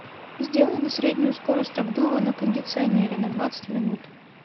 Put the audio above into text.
сделай на среднюю скорость обдува на кондиционере на двадцать минут